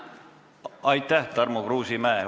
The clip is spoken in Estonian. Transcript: Aitäh, Tarmo Kruusimäe!